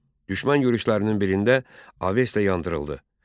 Düşmən yürüşlərinin birində Avesta yandırıldı.